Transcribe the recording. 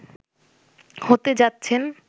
হতে যাচ্ছেন